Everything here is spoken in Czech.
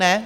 Ne?